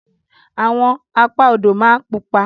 Àwọn Apá odò ma pupa.